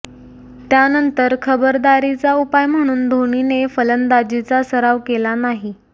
त्यानंतर खबरदारीचा उपाय म्हणून धोनीने फलंदाजीचा सराव केला नाही